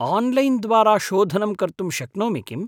Online द्वारा शोधनं कर्तुं शक्नोमि किम्?